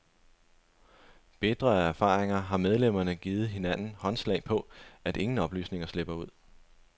Bitre af erfaringer har medlemmerne givet hinanden håndslag på, at ingen oplysninger slipper ud.